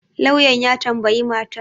lauyan ya tambayi matar